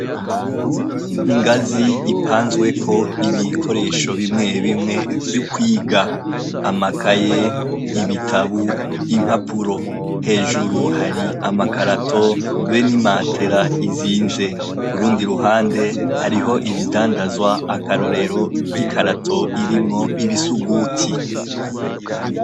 Inganzi ipanzweko ibikoresho bimwe bimwe vyukwiga, amakaye, ibitabo, impapuro, hejuru hari amakarato be n'imatera izinze, kurundi ruhande hariho ibindandazwa, akarorero nkikarato irimwo ibisuguti.